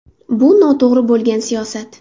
Bu – noto‘g‘ri bo‘lgan siyosat .